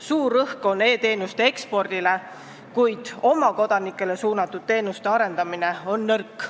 Suur rõhk on e-teenuste ekspordil, kuid oma kodanikele suunatud teenuste arendamine on nõrk.